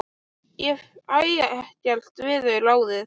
Ég fæ ekkert við þau ráðið.